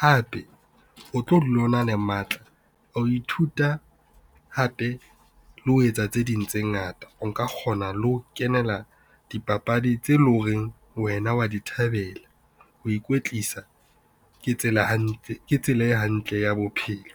Hape o tlo dula o na le matla a ho ithuta hape le ho etsa tse ding tse ngata o nka kgona le ho kenela dipapadi tse leng horeng wena wa di thabela. Ho ikwetlisa ke tsela e hantle ya bophelo.